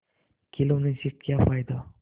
खिलौने से क्या फ़ायदा